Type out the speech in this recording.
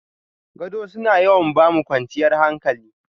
Gado suna yawan ba mu kwanciyar hankali.